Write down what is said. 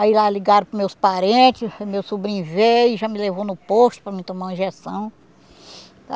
Aí lá ligaram para o meus parente, o meu sobrinho veio, já me levou no posto para mim tomar uma injeção.